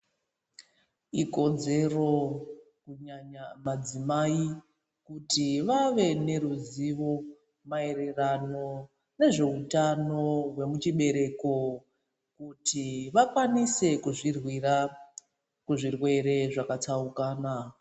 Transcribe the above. Ikodzero kunyanya madzimai kuti vave neruzivo maererano nezveutano hwemuchibereko. Kuti vakwanise kuzvirwira kuzvirwere zvakatsaukana.